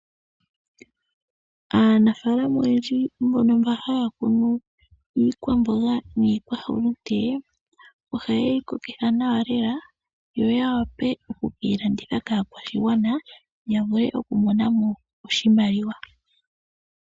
Aanafaalama oyendji mbono mba haya kunu iikwamboga niikwahulute oha yeyi kokitha nawa lela yo ya wape okukeyi landitha kaakwashigwana ya vule oku monamo oshimaliwa.